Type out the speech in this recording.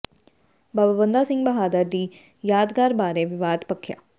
ਬਾਬਾ ਬੰਦਾ ਸਿੰਘ ਬਹਾਦਰ ਦੀ ਯਾਦਗਾਰ ਬਾਰੇ ਵਿਵਾਦ ਭਖਿਆ